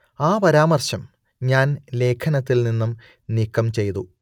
ആ പരാമർശം ഞാൻ ലേഖനത്തിൽ നിന്നും നീക്കം ചെയ്തു